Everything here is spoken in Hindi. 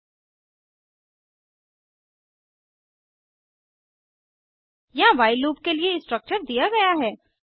httpspoken tutorialorg यहाँ व्हाइल लूप के लिए स्ट्रक्चर दिया गया है